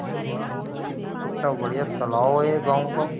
Are वाह कितना बाद तालाब है ये गाँव का।